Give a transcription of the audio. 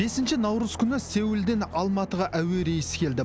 бесінші наурыз күні сеулден алматыға әуе рейсі келді